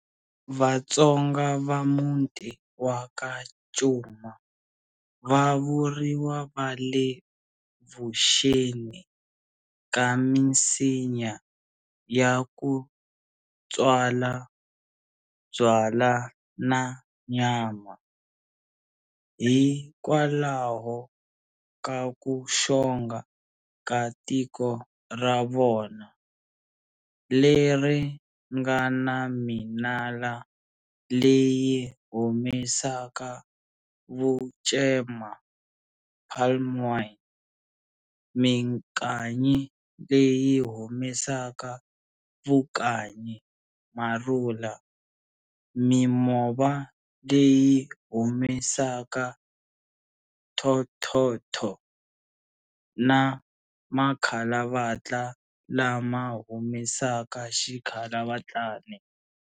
VaTsonga va muti wa ka Cuma va vuriwa va le vuxeni ka misinya ya kutswala byala na nyama, hi kwalaho ka ku xonga ka tiko ra vona, leri nga na minala leyi humesaka vucema, palm wine, mikanyi leyi humesaka vukanyi, Marula, mimova leyi humesaka Thonthontho na makalavatla lama humesaka xikalavatlani.